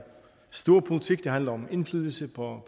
storpolitik det handler om indflydelse på